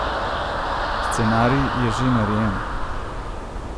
Scenarij je že narejen!